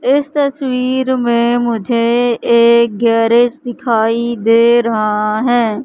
इस तस्वीर में मुझे एक गैरेज दिखाई दे रहा है।